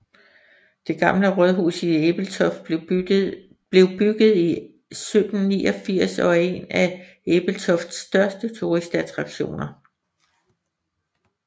Det Gamle Rådhus i Ebeltoft blev bygget i 1789 og er en af Ebeltofts største turistattraktioner